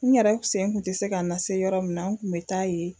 N yɛrɛ sen kun tɛ se ka n lase yɔrɔ min na n kun bɛ taa yen